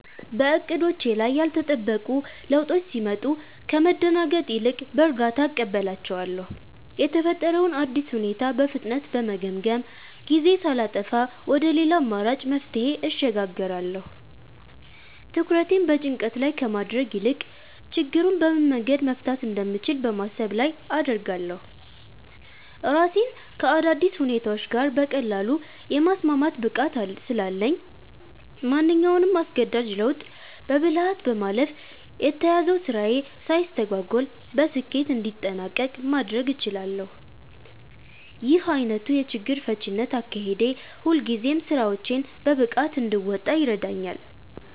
በዕቅዶቼ ላይ ያልተጠበቁ ለውጦች ሲመጡ ከመደናገጥ ይልቅ በእርጋታ እቀበላቸዋለሁ። የተፈጠረውን አዲስ ሁኔታ በፍጥነት በመገምገም፣ ጊዜ ሳላጠፋ ወደ ሌላ አማራጭ መፍትሄ እሸጋገራለሁ። ትኩረቴን በጭንቀት ላይ ከማድረግ ይልቅ ችግሩን በምን መንገድ መፍታት እንደምችል በማሰብ ላይ አደርጋለሁ። ራሴን ከአዳዲስ ሁኔታዎች ጋር በቀላሉ የማስማማት ብቃት ስላለኝ፣ ማንኛውንም አስገዳጅ ለውጥ በብልሃት በማለፍ የተያዘው ስራዬ ሳይስተጓጎል በስኬት እንዲጠናቀቅ ማድረግ እችላለሁ። ይህ ዓይነቱ የችግር ፈቺነት አካሄዴ ሁልጊዜም ስራዎቼን በብቃት እንድወጣ ይረዳኛል።